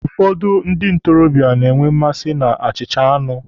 Ụfọdụ ndị ntorobịa na-enwe mmasi na achịcha anụ.